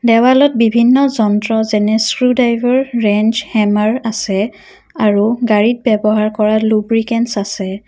দেৱালত বিভিন্ন যন্ত্ৰ যেনে স্ক্ৰুড্ৰাইভাৰ ৰেঞ্জ হেমাৰ আছে আৰু গাড়ীত ব্যৱহাৰ কৰা লুব্ৰিকেন্তচ আছে।